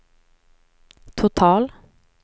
total